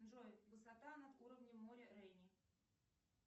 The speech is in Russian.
джой высота над уровнем моря рени